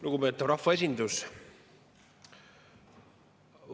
Lugupeetav rahvaesindus!